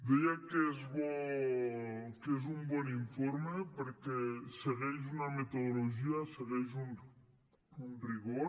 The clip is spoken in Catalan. deia que és un bon informe perquè segueix una metodologia segueix un rigor